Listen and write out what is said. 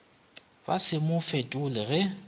ba se mo fetole ge